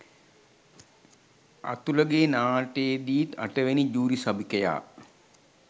අතුලගේ නාට්‍යයේදිත් අටවෙනි ජූරි සභිකයා